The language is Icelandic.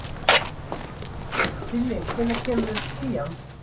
Silli, hvenær kemur tían?